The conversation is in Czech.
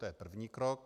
To je první krok.